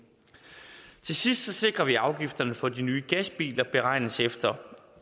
til sidst sikrer vi at afgifterne for de nye gasbiler beregnes efter